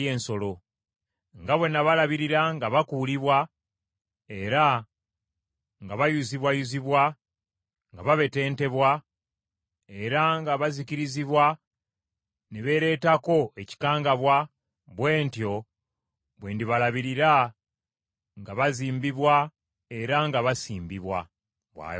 Nga bwe nabalabirira nga bakuulibwa era nga bayuzibwayuzibwa, nga babetentebwa, era nga bazikirizibwa ne beeleetako ekikangabwa, bwe ntyo bwe ndibalabirira nga bazimbibwa era nga basimbibwa,” bw’ayogera Mukama .